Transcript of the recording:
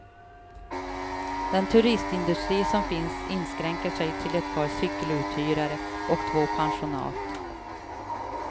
Den turistindustri som finns inskränker sig till ett par cykeluthyrare och två pensionat.